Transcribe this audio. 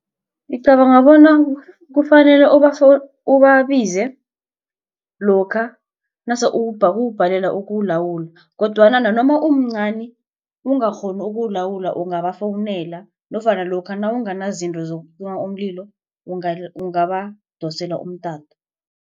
Ngicabanga bona kufanele ubabize lokha nasele ubhalelwa kuwulawula kodwana umncani ungakghoni ukulawula ungabafowunela nofana lokha nawunganazinto zokucima umlilo ungabadosela mtato.